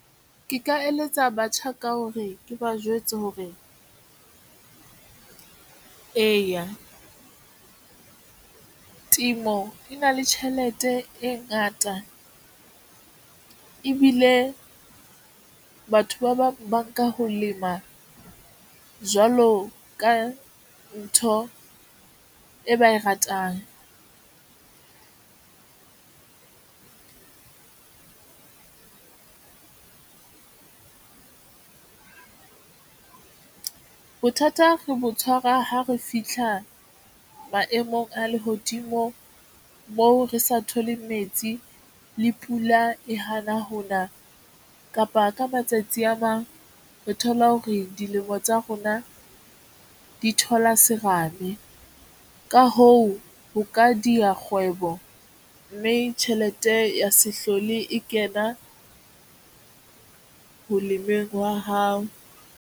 Ke ka eletsa batjha ka hore ke ba jwetse hore eya temo e na le tjhelete e ngata ebile batho ba bang ba nka ho lema jwalo ka ntho e ba e ratang. Bothata re botshwara ha re fihla maemong a lehodimo moo re sa thole metsi le pula e hana hona kapa ka matsatsi a mang re thola hore dilemo tsa rona di thola serame. Ka hoo, ho ka diya kgwebo, mme tjhelete ya sehlole e kena ho lemeng hwa hao.